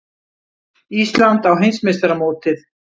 Ísland á heimsmeistaramótið